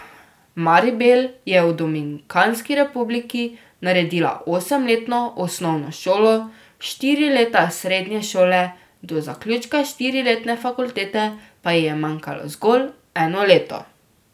Maribel je v Dominikanski republiki naredila osemletno osnovno šolo, štiri leta srednje šole, do zaključka štiriletne fakultete pa ji je manjkalo zgolj eno leto.